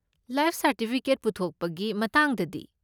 Life certificate ꯄꯨꯊꯣꯛꯄꯒꯤ ꯃꯇꯥꯡꯗꯗꯤ?